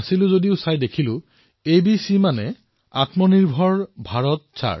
মই সেই চাৰ্টখন চালো আৰু পিছত বুজি পালো যে এবিচিৰ অৰ্থ হল আত্মনিৰ্ভৰ চাৰ্ট এবিচি